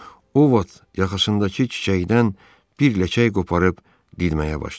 O Vot yaxasındakı çiçəkdən bir ləçək qoparıb didməyə başladı.